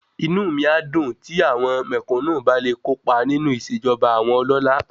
Inú mi á dùn tí àwọn mẹ̀kúnù bá le kópa nínú ìṣẹ̀jọba àwọn ọlọ́lá